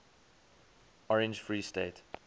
orange free state